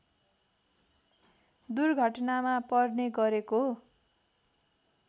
दुर्घटनामा पर्ने गरेको